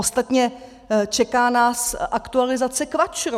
Ostatně čeká nás aktualizace KVAČRu.